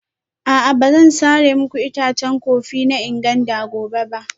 A'a ba zan sare muku itacen kofi na Nganda gobe ba